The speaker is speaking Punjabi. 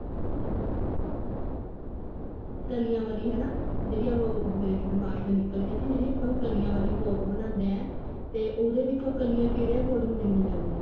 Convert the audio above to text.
ਕਲੀਆਂ ਵਾਲੀ ਹਨਾ ਜਿਹੜੀ ਉਹ ਮੇਰੇ ਦਿਮਾਗ ਚੋ ਨਿੱਕਲ ਗਿਆ ਸੀ ਜਿਹੜੀ ਇੱਕ ਦਮ ਉਹ ਕਲੀਆਂ ਵਾਲੀ frock ਬਣਾਉਂਦੇ ਐ ਤੇ ਉਹਦੇ ਵਿੱਚ ਉਹ ਕਲੀਆਂ ਕਿਹਦੇ according ਲਈਆਂ ਜਾਂਦੀਆਂ ਨੇ